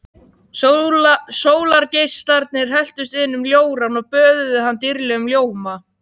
Sólargeislarnir helltust inn um ljórann og böðuðu hann dýrlegum ljóma.